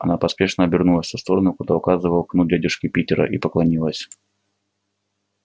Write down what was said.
она поспешно обернулась в ту сторону куда указывал кнут дядюшки питера и поклонилась